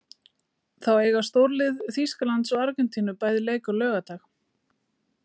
Þá eiga stórlið Þýskalands og Argentínu bæði leik á laugardag.